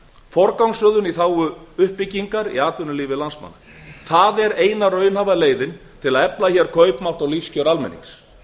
forgangsröðun í þágu uppbyggingar í atvinnulífi landsmanna það er eina raunhæfa leiðin til að efla hér kaupmátt og lífskjör almennings